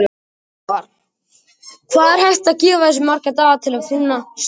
Svavar: Hvað er hægt að gefa þessu marga daga til að finna stjórnina?